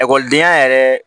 Ekɔlidenya yɛrɛ